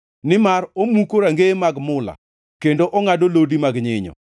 nimar omuko rangeye mag mula, kendo ongʼado lodi mag nyinyo.